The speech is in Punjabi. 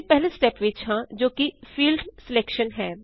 ਅਸੀਂ ਪਹਿਲੇ ਸਟੇਪ ਵਿੱਚ ਹਾਂ ਜੋ ਕਿ ਫੀਲਡ ਸਿਲੈਕਸ਼ਨ ਹੈ